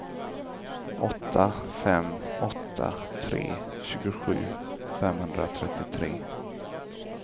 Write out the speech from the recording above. åtta fem åtta tre tjugosju femhundratrettiotre